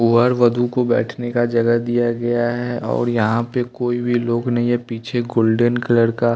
वर वधु को बैठने का जगह दिया गया है और यहाँ पे कोई भी लोग नहीं हैं पीछे गोल्डन कलर का--